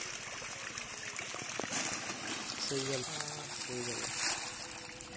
ਸਹੀ ਗੱਲ ਸਹੀ ਗੱਲ ਆ।